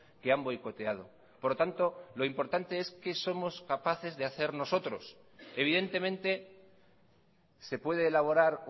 que han boicoteado por lo tanto es qué somos capaces de hacer nosotros evidentemente se puede elaborar